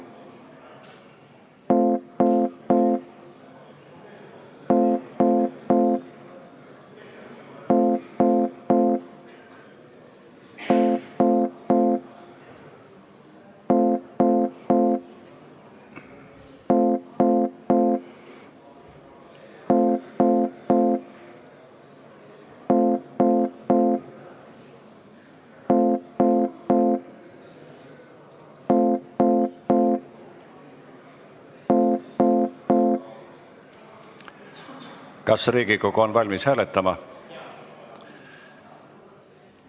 Kas Riigikogu on valmis hääletama?